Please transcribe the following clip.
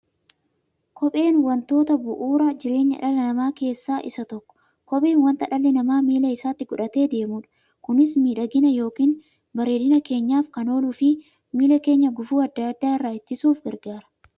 Kopheen wantoota bu'uura jireenya dhala namaa keessaa isa tokkodha. Kopheen wanta dhalli namaa miilla isaatti godhatee deemudha. Kunis miidhagina yookiin bareedina keenyaf kan ooluufi miilla keenya gufuu adda addaa irraa ittisuuf gargaara.